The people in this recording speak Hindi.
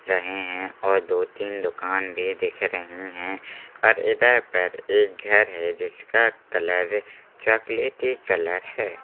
रहे हैं और दो-तीन दुकान भी दिख रही हैं और इधर पर एक घर है जिसका कलर चॉकलेटी कलर है।